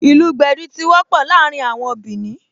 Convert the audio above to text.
Ìlù gbẹ̀dú tí wọ́pọ̀ láàrin àwọn Bìnì